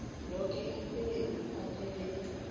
yoke imisebenzi ephathelene